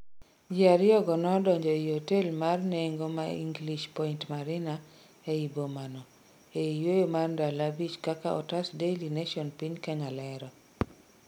ji ariyo go nodonje ei otel mar nengo ma English Point Marina ei boma n, ei yueyo mar ndalo abich kaka otas Daily Nation piny Kenya lero